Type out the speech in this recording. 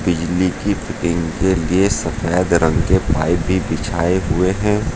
बिजली की फिटिंग के लिए सफेद रंग के पाइप भी बिछाए हुए हैं।